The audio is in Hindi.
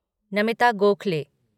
नमिता गोखले